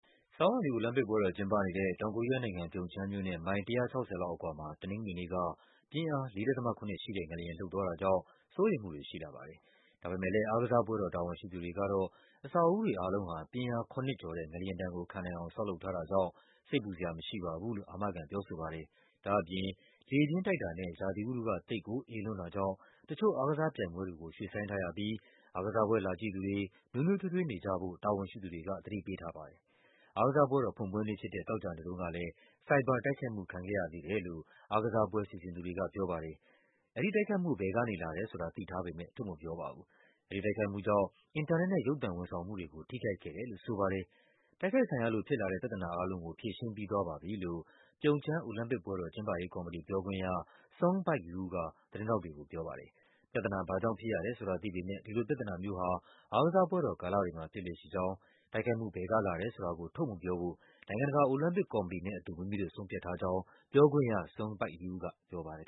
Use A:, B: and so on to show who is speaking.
A: ဆောင်းရာသီအိုလံပစ်ပွဲတော်ကျင်းပနေတဲ့ တောင်ကိုရီးယားနိုင်ငံ၊ ပြုံချမ်းမြို့နဲ့ မိုင် ၁၆၀ လောက်အကွာမှာ တနင်္ဂနွေနေ့က ပြင်းအား ၄.၇ ရှိတဲ့ငလျင် လှုပ်သွားတာကြောင့် စိုးရိမ်မှုတွေရှိလာပါတယ်။ ဒါပေမယ့်လည်း အားကစားပွဲတော် တာဝန်ရှိသူတွေကတော့ အဆောက်အဦးတွေအားလုံးဟာ ပြင်းအား ၇ ကျော်တဲ့ ငလျင်ဒဏ် ကိုခံနိုင်အောင် ဆောက်လုပ်ထားတာကြောင့် စိတ်ပူစရာမရှိပါဘူးလို့ အာမခံပြောဆိုပါတယ်။ ဒါ့အပြင် လေပြင်းတိုက်တာနဲ့ ရာသီဥတုက သိပ်ကိုအေးလွန်းတာကြောင့် တချို့အားကစားပြိုင်ပွဲတွေကို ရွှေ့ဆိုင်းထားရပြီး အားကစားပွဲလာကြည့်သူတွေ နွေးနွေးထွေးထွေးနေကြဖို့ တာဝန်ရှိသူတွေက သတိပေးထားပါတယ်။ အားကစားပွဲတော်ဖွင့်ပွဲနေ့ဖြစ်တဲ့ သောကြာနေ့တုန်းကလည်း ဆိုင်ဘာတိုက်ခိုက်မှုခံခဲ့ရသေးတယ်လို့ အားကစားပွဲစီစဉ်သူတွေက ပြောပါတယ်။ အဲဒီတိုက်ခိုက်မှု ဘယ်ကနေလာတယ်ဆိုတာ သိထားပေမယ့် ထုတ်မပြောပါဘူး။ အဲဒီတိုက်ခိုက်မှုကြောင့် အင်တာနက်နဲ့ ရုပ်သံဝန်ဆောင်မှုတွေကို ထိခိုက်ခဲ့တယ်လို့ဆိုပါတယ်။ တိုက်ခိုက်ခံရလို့ဖြစ်လာတဲ့ ပြဿနာအားလုံးကို ဖြေရှင်းပြီးသွားပါပြီလို့ ပြုံချမ်း အိုလံပစ်ပွဲတော် ကျင်းပရေးကော်မတီ ပြောခွင့်ရ Sung Baik-you က သတင်းထောက်တွေကိုပြောပါတယ်။ ပြဿနာ ဘာ့ကြောင့်ဖြစ်ရတယ်ဆိုတာ သိပေမယ့် ဒီလိုပြဿနာမျိုးဟာ အားကစားပွဲတော်ကာလတွေမှာ ဖြစ်လေ့ရှိကြောင်း၊ တိုက်ခိုက်မှုဘယ်ကလာတယ်ဆိုတာကို ထုတ်မပြောဖို့ နိုင်ငံတကာ အိုလံပစ်ကော်မတီနဲ့အတူ မိမိတို့ဆုံးဖြတ်ထားကြောင်း ပြောခွင့်ရ Sung Baik-you
B: ကပြောပါတယ်